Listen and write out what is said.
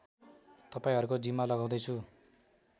तपाईँहरूको जिम्मा लगाउँदै छु